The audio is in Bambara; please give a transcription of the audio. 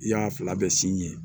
I y'a fila bɛ sin yen